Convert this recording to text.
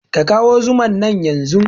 Ka kawo zuman nan yanzun!